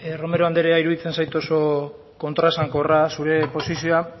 romero andrea iruditzen zait oso kontraesankorra zure posizioa